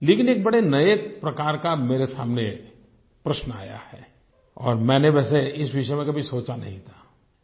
लेकिन एक बड़े नए प्रकार का मेरे सामने प्रश्न आया है और मैंने वैसे इस विषय में कभी सोचा नहीं था